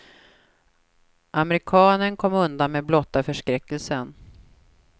Amerikanen kom undan med blotta förskräckelsen.